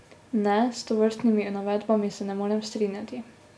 Ne, s tovrstnimi navedbami se ne morem strinjati.